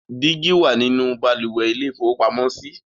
Dígí wà nínú balùwẹ̀ ilé-ìfowópamọ́sí.